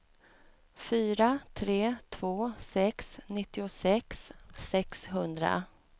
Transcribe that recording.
fyra tre två sex nittiosex sexhundra